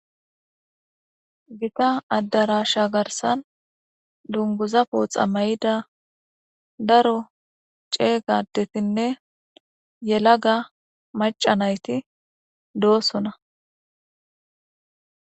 gita addarasha garsan dunguza pooxa may7ida daro ceeygadetinne yelaga macanayti doosona